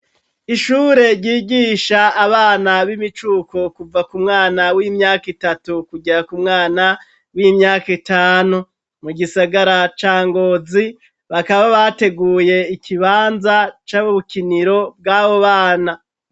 Ishure ryigisha abana b'imicuko kuva ku mwana w'imyaka itatu kuja ku mwana w'imyaka itanu mu gisagara ca ngozi bakaba bateguye ikibanza c'abo ubukiniro bw'abo bana.